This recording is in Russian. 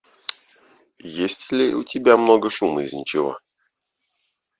есть ли у тебя много шума из ничего